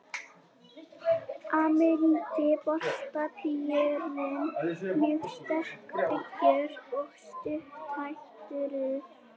Ameríski bolabíturinn er mjög sterkbyggður og stutthærður.